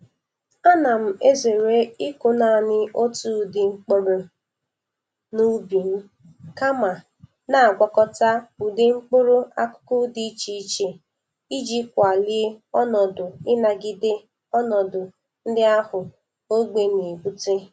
Ana m ezere ịkụ nanị otu ụdị mkpụrụ n'ubi m, kama na-agwakọta ụdị mkpụrụ akụkụ dị iche iche iji kwalie onọdụ inagide ọnọdụ ndị ahụ ogbe na-ebute.